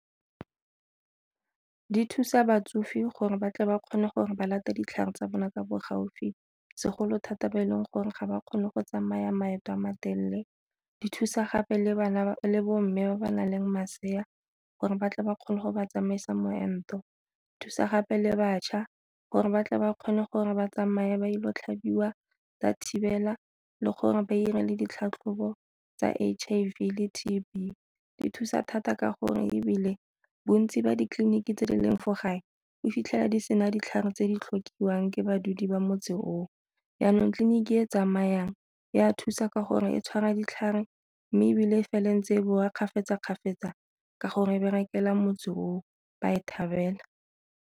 Di thusa batsofe gore batle ba kgone gore ba ditlhare tsa bona ka bo gaufi, segolo thata ba e leng gore ga ba kgone go tsamaya maeto a matelele di thusa gape le bo mme ba ba nang le masea gore batle ba kgone go ba tsamaisa moento. Thusa gape le bašwa gore ba tle ba kgone gore ba tsamaya ba ile go tlhabiwa tsa thibela le gore ba 'ire le ditlhatlhobo tsa H_I_V le T_B di thusa thata ka gore ebile bontsi ba ditleliniki tse di leng fo gae o fitlhela di sena ditlhare tse di tlhokwang ke badumedi ba motse o o, jaanong tleliniki e tsamayang e a thusa ka gore e tshwana ditlhare mme ebile e fela ntse ko bo wa kgafetsa-kgafetsa ka gore berekela motse o ba e thabela.